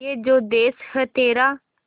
ये जो देस है तेरा